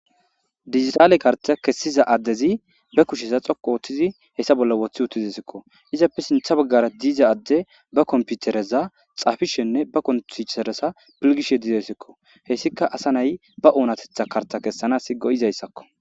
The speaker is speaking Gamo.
digitaale karta kessiza addezi ba kushesa xoqu ooththizi hessa bolla woththi uttizesikko izappe sintha baggara diiza adde ba komputereza xaafishenne ba kontuteresa pilgishe diizaysikko hessika asa nay ba oonatetha karta kessana i go izayssakko